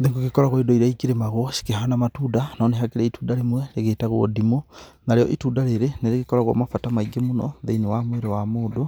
Nĩ gũgĩkoragwo indo irĩa ikĩrĩmagwo cikĩhana matunda, no nĩ hakĩrĩ itunda rĩmwe rĩgĩtagwo ndimũ. Narĩo itunda rĩrĩ nĩ rĩgĩkoragwo na bata maingĩ mũno thĩinĩ wa mwĩrĩ wa mũndũ